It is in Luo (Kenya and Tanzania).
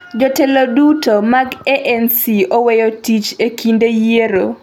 Jotelo duto mag ANC oweyo tich e kinde yiero: